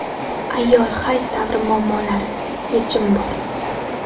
Ayol hayz davri muammolari – yechim bor!